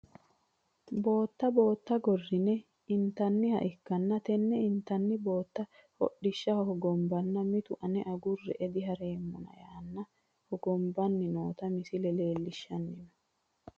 Boota boota gorine intaniha ikanna tene intani boota hodhishaho hogonbana mitu ane agure`e dihareemona yaana hogobani noota misile leelishani no.